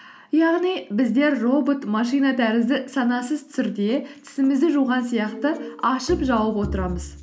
яғни біз де робот машина тәрізді санасыз түрде тісімізді жуған сияқты ашып жауып отырамыз